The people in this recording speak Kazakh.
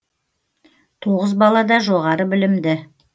тоғыз бала да жоғары білімді